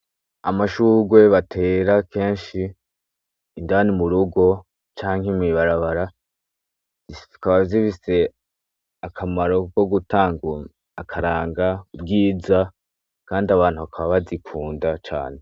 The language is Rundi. Amashugwe batera akenshi indani murugo canke mw'ibarabara, zikaba zifise akamaro ko gutanga akaranga ubwiza kandi abantu bakaba bazikunda cane.